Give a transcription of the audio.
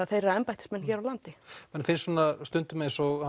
þeirra embættismenn hér á landi manni finnst stundum eins og